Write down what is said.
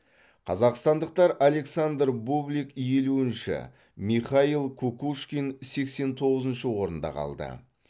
қазақстандықтар александр бублик елуінші михаил кукушкин сексен тоғызыншы орнында қалды